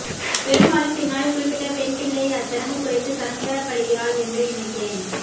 பெரும்பாலும் பின்னாளில் குறிப்பிட்ட பெண்பிள்ளை அச்சடங்கு குறித்து சங்கடப்படுகிறாள் என்றே நினைக்கிறேன்